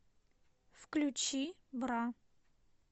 включи бра